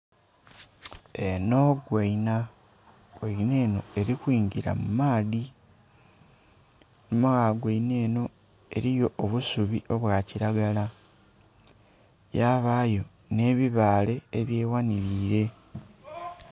Enho ngoinha. Engoinha enho eli kwingila mu maadhi. Einhuma gh'engoinha enho eliyo obusubi obwa kilagala, yabayo nh'ebibaale ebyeghanhiliile.